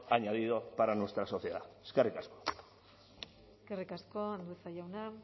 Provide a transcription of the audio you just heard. añadido para nuestra sociedad eskerrik asko eskerrik asko andueza jauna